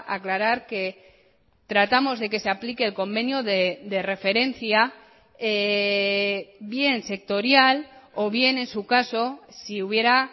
aclarar que tratamos de que se aplique el convenio de referencia bien sectorial o bien en su caso si hubiera